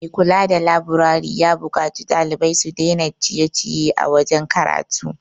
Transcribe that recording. Mai kula da laburari ya buƙaci ɗalibai su dai na ciye -ciye a wajen karatu